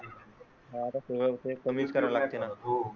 हां आता सगळं ते कमीच करायला लागते ना.